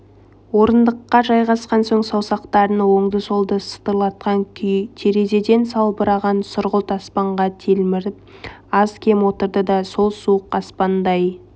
орындыққа жайғасқан соң саусақтарын оңды-солды сытырлатқан күй терезеден салбыраған сұрғылт аспанға телміріп аз-кем отырды да сол суық аспандай